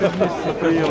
Xoşdur.